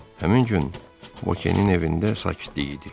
Həmin gün Vokenin evində sakitlik idi.